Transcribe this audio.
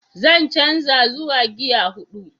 Zan canza zuwa gear hudu.